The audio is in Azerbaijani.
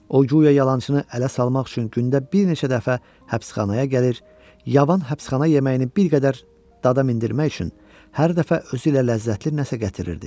O, guya yalançını ələ salmaq üçün gündə bir neçə dəfə həbsxanaya gəlir, yavan həbsxana yeməyini bir qədər dada mindirmək üçün hər dəfə özü ilə ləzzətli nəsə gətirirdi.